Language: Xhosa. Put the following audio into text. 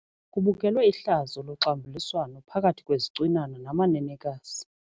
Kubukelwe ihlazo loxambuliswano phakathi kwezicwinana namanenekazi.